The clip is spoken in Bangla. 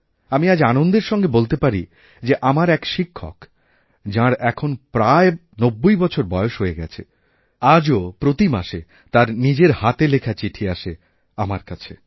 আমি আজ আনন্দের সঙ্গে বলতে পারি যে আমার এক শিক্ষক যাঁর এখনপ্রায় নব্বই বছর বয়স হয়ে গেছে আজও প্রতি মাসে তাঁর নিজের হাতে লেখা চিঠি আসে আমারকাছে